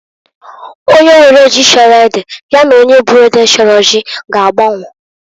Onye nwere ji chọrọ ede ya na onye bu ede chọrọ ji g'agba onwo.